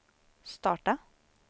starta